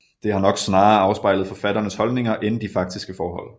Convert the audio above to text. Det har nok snarere afspejlet forfatternes holdninger end de faktiske forhold